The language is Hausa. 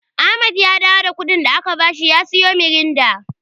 Ahmad ya dawo da kuɗin da aka bashi ya siyo Miranda.